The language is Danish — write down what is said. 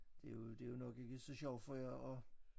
Det jo det jo nok ikke så sjovt for jer at